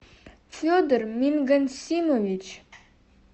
федор мингансимович